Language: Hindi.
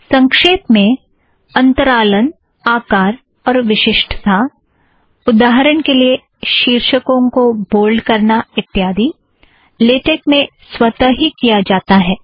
संक्षेप में अंतरालन आकार और विशिष्टता उदाहरण के लिए शीर्षक को बोल्ड करना इत्यादि लेटेक में स्वत ही किया जाता है